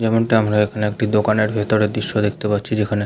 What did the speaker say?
যেমনটা আমরা এখানে একটি দোকানের দৃশ্য দেখতে পাচ্ছি যেখানে।